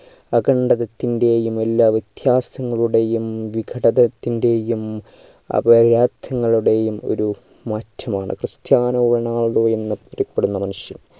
അഖണ്ഡവത്തിൻ്റെയും എല്ലാ വ്യതാസങ്ങളുടെയും വിഘടതത്തിന്റെയും ഒരു മാറ്റമാണ് ക്രിസ്റ്റ്യാനോ റൊണാൾഡോ എന്ന് അറിയപ്പെടുന്ന മനുഷ്യൻ